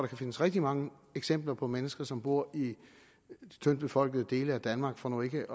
kan findes rigtig mange eksempler på mennesker som bor i tyndt befolkede dele af danmark for nu ikke